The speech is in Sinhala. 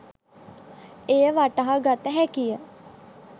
එය වටහා ගත හැකිය.